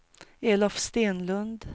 Elof Stenlund